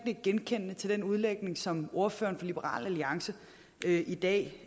nikke genkendende til den udlægning som ordføreren for liberal alliance i dag